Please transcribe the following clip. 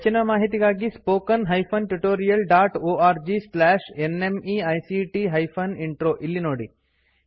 ಹೆಚ್ಚಿನ ಮಾಹಿತಿಗಾಗಿ spoken hyphen tutorial dot org slash NMEICT hyphen intro ಎಂಬಲ್ಲಿ ನೋಡಿ